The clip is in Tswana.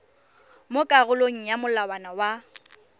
mo karolong ya molawana wa